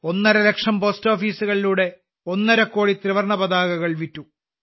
ഒന്നരലക്ഷം പോസ്റ്റോഫീസുകളിലൂടെ ഒന്നരകോടി ത്രിവർണ പതാകകൾ വിറ്റു